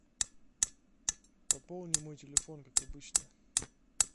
пополни мой телефон как обычно